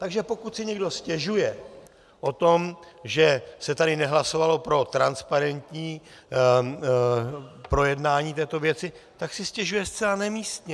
Takže pokud si někdo stěžuje na to, že se tady nehlasovalo pro transparentní projednání této věci, tak si stěžuje zcela nemístně.